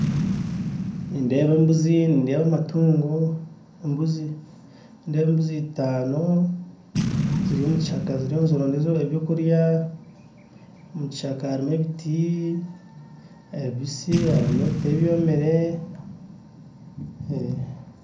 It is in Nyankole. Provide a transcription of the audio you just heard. Nindeeba embuzi nindeeba amatungo nindeeba embuzi itano ziri omukishaka ziriyo nizironda ebyokurya omukishaka harimu ebiti ebibisi harimu ebiti ebyomire